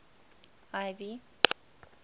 ivy